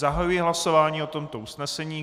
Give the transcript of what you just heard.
Zahajuji hlasování o tomto usnesení.